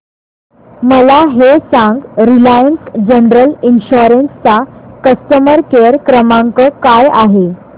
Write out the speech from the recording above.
मला हे सांग रिलायन्स जनरल इन्शुरंस चा कस्टमर केअर क्रमांक काय आहे